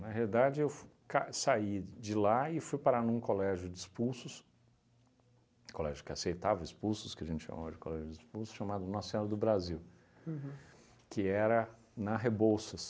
Na realidade, eu f ca saí de lá e fui parar num colégio de expulsos, colégio que aceitava expulsos, que a gente chama hoje de colégio de expulsos, chamado Nossa Senhora do Brasil, uhum, que era na Rebouças.